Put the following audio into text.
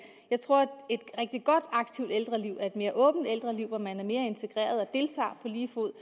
jeg tror et rigtig godt aktivt ældreliv er et mere åbent ældreliv hvor man er mere integreret og deltager på lige fod